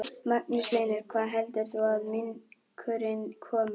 Magnús Hlynur: Hvaða heldur þú að minkurinn komi?